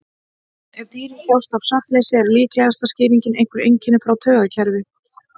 Ef dýrin þjást af svefnleysi er líklegasta skýringin einhver einkenni frá taugakerfi.